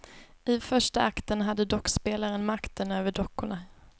I första akten hade dockspelaren makten över dockorna.